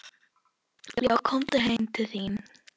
Já, komum heim til þín.